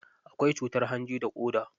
Akwai cutar hanji da ƙoda.